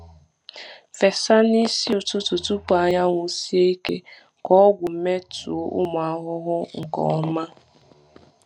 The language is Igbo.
Fesa n’isi ụtụtụ tupu anyanwụ sie ike ka ọgwụ metụọ ụmụ ahụhụ nke ọma.